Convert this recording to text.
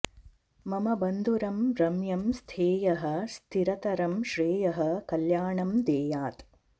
मम बन्धुरं रम्यं स्थेयः स्थिरतरं श्रेयः कल्याणं देयात्